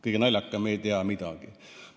Kõige naljakam, et me ei tea midagi.